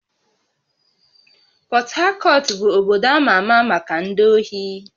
Port Harcourt bụ obodo ama ama maka ndị ohi